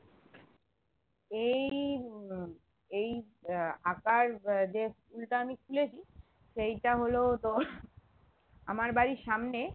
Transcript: এই উম উহ এই আহ আঁকার আহ যে school টা আমি খুলেছি সেইটা হলো তো আমার বাড়ির সামনে